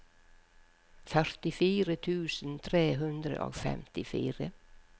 førtifire tusen tre hundre og femtifire